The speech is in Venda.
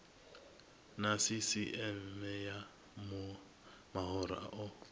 na sisieme ya mahoro o